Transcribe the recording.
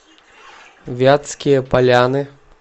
вятские поляны